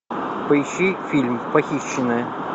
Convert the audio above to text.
поищи фильм похищенная